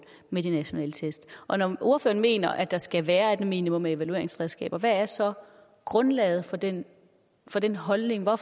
med de nationale test og når ordføreren mener at der skal være et minimum af evalueringsredskaber hvad er så grundlaget for den for den holdning og